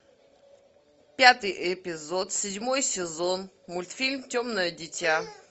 пятый эпизод седьмой сезон мультфильм темное дитя